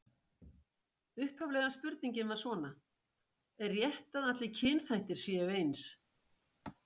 Upphaflega spurningin var svona: Er rétt að allir kynþættir séu eins?